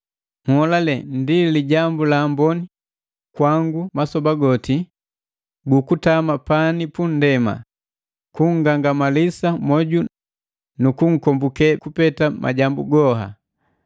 Nholale ndi lijambu la amboni kwangu, masoba goti gukutama pani pundema, kungangamalisa mwoju nu kunkombuke kupete majambu haga.